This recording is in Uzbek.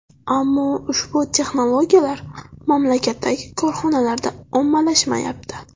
Ammo ushbu texnologiyalar mamlakatdagi korxonalarda ommalashmayapti.